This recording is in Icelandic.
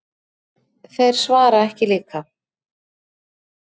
Þeir svara ekki líka.